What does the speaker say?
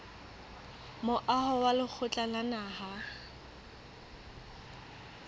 moaho wa lekgotla la naha